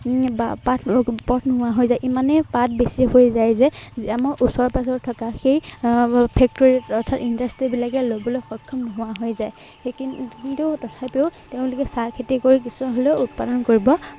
বা এৰ পথ নোহোৱা হৈ যায়। ইমানেই পাত বেছি হৈ যায় যে, আমাৰ ওচৰে-পাজৰে থকা সেই আহ factory ত অৰ্থাৎ industry বিলাকে লবলৈ সক্ষম নোহোৱা হৈ যায়। কিন্তু তথাপিও তেওঁলোকে চাহ খেতি কৰি কিছু হলেও উৎপাদন কৰিব